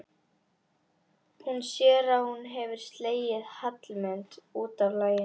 Hún sér að hún hefur slegið Hallmund út af laginu.